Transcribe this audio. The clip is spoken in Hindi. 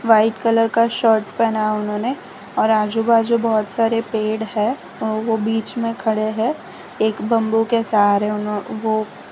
व्हाइट कलर का शर्ट पहना उन्होंने और आजू बाजू बहोत सारे पेड़ है और वह बीच में खड़े हैं एक बंबू के सहारे ओ--